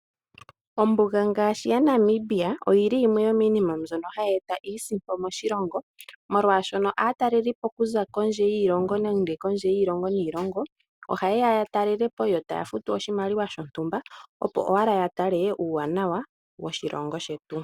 Ombuga ngaashi yaNamibia oyili yimwe yo miinima mbyono hayi eta iisimpo moshilongo. Molwashono aatalelipo okuza kondje yiilongo ohaye ya ya talelepo yo taya futu oshimaliwa shontumba opo owala ya tale uuwanawa woshilongo shetu.